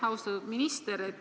Austatud minister!